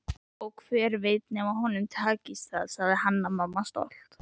Og hver veit nema honum takist það, sagði Hanna-Mamma stolt.